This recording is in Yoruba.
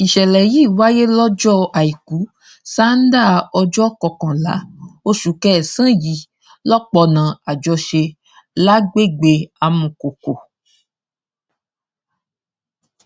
ìṣẹlẹ yìí wáyé lọjọ àìkú sannda ọjọ kọkànlá oṣù kẹsànán yìí lọpọnà àjọṣe lágbègbè amúkọkọ